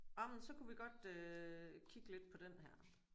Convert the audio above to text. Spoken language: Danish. Jamen så kunne vi godt øh kigge lidt på den her